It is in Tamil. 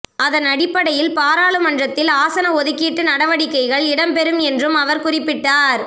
அதனடிப்படையில் பாராளுமன்றத்தில் ஆசன ஒதுக்கீட்டு நடவடிக்கைகள் இடம்பெறும் என்றும் அவர் குறிப்பிட்டார்